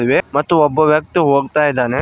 They ಮತ್ತು ಒಬ್ಬ ವ್ಯಕ್ತಿ ಹೋಗ್ತಾ ಇದಾನೆ.